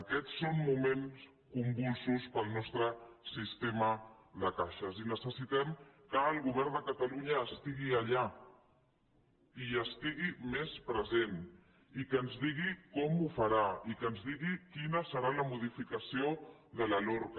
aquests són moments convulsos per al nostre sistema de caixes i necessitem que el govern de catalunya es·tigui allà hi estigui més present i que ens digui com ho farà i que ens digui quina serà la modificació de la lorca